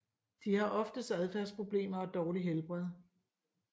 De har oftest adfærdsproblemer og dårligt helbred